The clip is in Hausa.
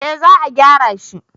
eh za a gyara shi